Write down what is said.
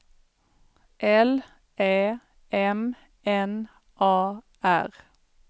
L Ä M N A R